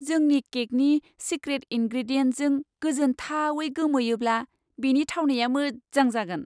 जोंनि केकनि सिक्रेट इनग्रेडियेन्टजों गोजोनथावै गोमोयोब्ला, बेनि थावनाया मोजां जागोन!